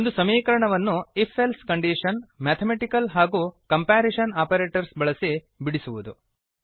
ಒಂದು ಸಮೀಕರಣವನ್ನು if else condition mathematical ಹಾಗೂ ಕಂಪ್ಯಾರಿಸನ್ ಆಪರೇಟರ್ಸ್ ಬಳಸಿ ಬಿಡಿಸುವುದು